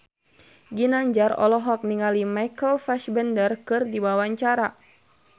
Ginanjar olohok ningali Michael Fassbender keur diwawancara